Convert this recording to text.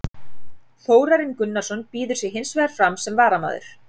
Þórarinn Gunnarsson býður sig hins vegar fram sem varamaður.